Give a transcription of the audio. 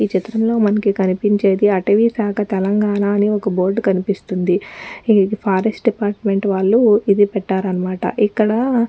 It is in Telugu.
ఈ చిత్రంలో మనకి కనిపించేది అటవిశాఖ తెలంగాణ అని ఒక్క బోర్డు కనిపిస్తుంది ఈ ఫారెస్ట్ డిపార్ట్మెంట్ వాళ్ళు ఇది పెట్టారనమాట ఇక్కడా --